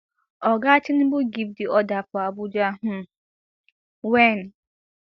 oga tinubu give di order for abuja um wen